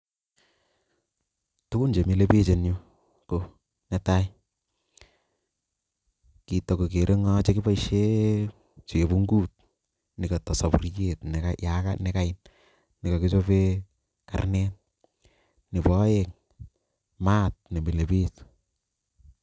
Tugun che milei biik eng yu, ne tai, kitokogeere ngo chekipoishe chepunguut nekata sapuriet nekait nekakichope karnet. Nebo aeng, maat ne mile biich.